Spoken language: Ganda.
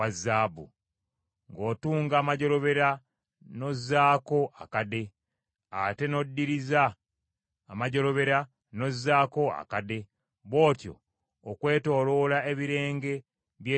Ng’otunga amajjolobera n’ozzaako akade, ate n’oddiriza amajjolobera n’ozzaako akade; bw’otyo okwetooloola ebirenge by’ekyambalo ekyo.